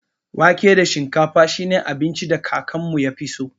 Wake da shinkafa shi ne abincin da kakanmu ya fi so.